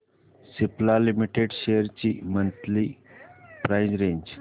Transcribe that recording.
Cipla limited shares ची monthly price range